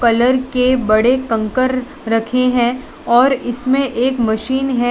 Colour के बड़े कंकर रखे हैं और इसमे एक मशीन है।